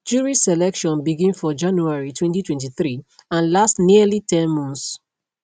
jury selection begin for january 2023 and last nearly ten months